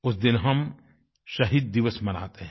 उस दिन हम शहीद दिवस मनाते हैं